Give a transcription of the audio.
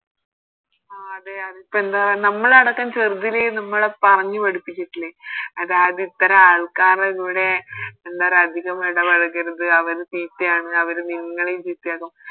ആഹ് അതെ അതിപ്പോ എന്താ നമ്മളടക്കം ചെറുതിലെ നമ്മളെ പറഞ്ഞ് പഠിപ്പിച്ചിറ്റില്ലെ അതായത് ഇത്ര ആൾക്കാരെ കൂടെ എന്ന പറയാ അതികം ഇടപഴകരുത് അവര് ചീത്തയാണ് അവര് നിങ്ങളെയും ചീത്തയാക്കും